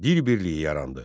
Dil birliyi yarandı.